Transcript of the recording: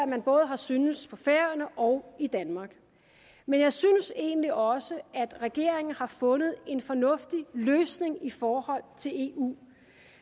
man både har syntes på færøerne og i danmark men jeg synes egentlig også at regeringen har fundet en fornuftig løsning i forhold til eu